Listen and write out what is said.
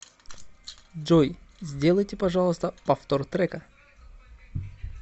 джой сделайте пожалуйста повтор трека